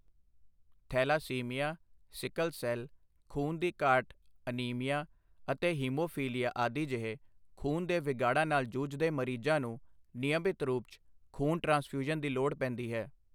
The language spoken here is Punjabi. ਥੈਲਾਸੀਮੀਆ, ਸਿਕਲ ਸੈੱਲ, ਖੂਨ ਦੀ ਘਾਟ ਅਨੀਮੀਆ ਅਤੇ ਹੀਮੋਫ਼ੀਲੀਆ ਆਦਿ ਜਿਹੇ ਖੂਨ ਦੇ ਵਿਗਾੜਾਂ ਨਾਲ ਜੂਝਦੇ ਮਰੀਜ਼ਾਂ ਨੂੰ ਨਿਯਮਿਤ ਰੂਪ 'ਚ ਖੂਨ ਟ੍ਰਾਂਸਫ਼ਿਊਜ਼ਨ ਦੀ ਲੋੜ ਪੈਂਦੀ ਹੈ।